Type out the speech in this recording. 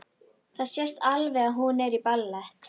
Það sést alveg að hún er í ballett.